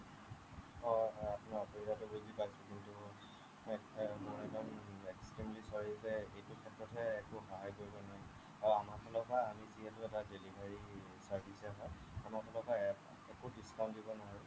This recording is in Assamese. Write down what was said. অহ অহ মই আপোনাৰ অসুবিধাটো বুজি পাইছো কিন্তু এৰ মই একদম extremely sorry যে এইটো ক্ষেত্ৰতহে একো সহায় কৰিব নোৱাৰিম আৰু আমাৰ ফালৰ পৰা আমি যিহেতু delivery service হে হ'য় আমাৰ ফালৰ পৰা একো discount দিব নোৱাৰো